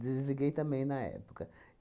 também na época.